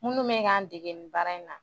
Minnu bɛ k'an dege nin baara in na